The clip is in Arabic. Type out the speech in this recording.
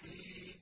حِينٍ